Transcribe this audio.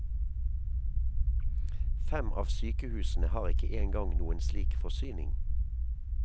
Fem av sykehusene har ikke engang noen slik forsyning.